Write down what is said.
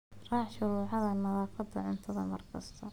Raac shuruucda nadaafadda cuntada mar kasta.